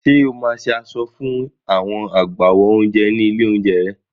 Ṣé o máa ṣe aṣọ iṣẹ́ fún àwọn agbáwo oúnjẹ ní ilé-oúnjẹ rẹ?